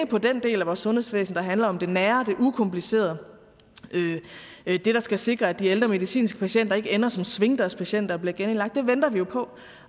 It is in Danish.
på den del af vores sundhedsvæsen der handler om det nære det ukomplicerede det der skal sikre at de ældre medicinske patienter ikke ender som svingdørspatienter og bliver genindlagt det venter vi jo på